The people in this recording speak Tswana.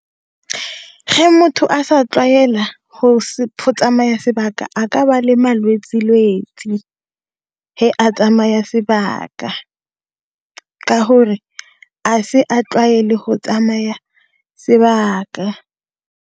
motho a sa tlwaela, go tsamaya sebaka, a ka ba le malwetsi lwetsi a tsamaya sebaka, ka hore a se a tlwaele go tsamaya sebaka.